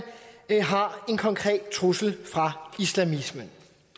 har en konkret trussel fra islamisme